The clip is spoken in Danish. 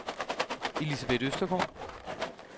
Elisabeth Østergaard